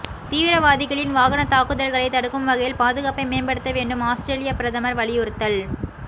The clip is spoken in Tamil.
தீவிரவாதிகளின் வாகன தாக்குதல்களை தடுக்கும் வகையில் பாதுகாப்பை மேம்படுத்த வேண்டும்ஆஸ்திரேலிய பிரதமர் வலியுறுத்தல்